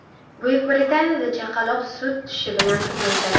Buyuk Britaniyada chaqaloq sut tishi bilan tug‘ildi.